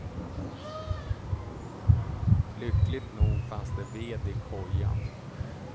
Lyckligt nog fanns det ved i kojan.